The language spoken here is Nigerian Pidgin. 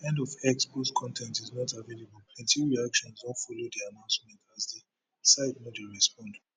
end of x post con ten t is not available plenty reactions don follow di announcement as di site no dey respond